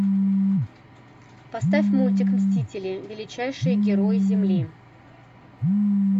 поставь мультик мстители величайшие герои земли